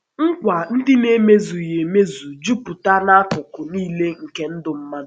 Nk̀wà ndị a na-emezùghị emezu jùpùtà n’akụkụ niile nke ndụ mmadụ.